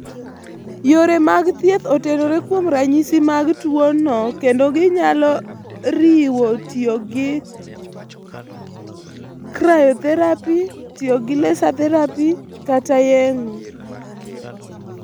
Yore mag thieth otenore kuom ranyisi mag tuwono kendo ginyalo riwo tiyo gi cryotherapy tiyo gi laser therapy, kod/kata yeng'o.